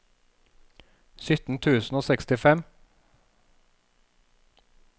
sytten tusen og sekstifem